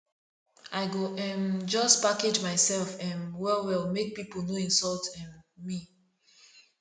i go um just package mysef um wellwell make pipo no insult um me